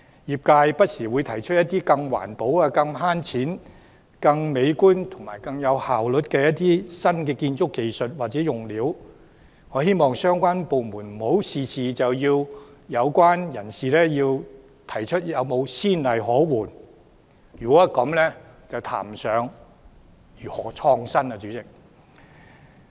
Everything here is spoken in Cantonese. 業界不時會提出一些更環保、更省錢、更美觀、更有效率的新建築技術或用料，我希望相關部門不要事事都要求相關人士提出有何先例可援，這樣便談不上如何創新了。